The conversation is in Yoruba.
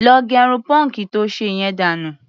Lọ gẹrun pọ́ǹkì to ṣe yẹn dànù.